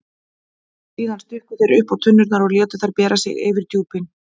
Síðan stukku þeir uppá tunnurnar og létu þær bera sig yfir djúpin.